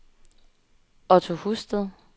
Otto Husted